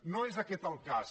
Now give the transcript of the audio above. no és aquest el cas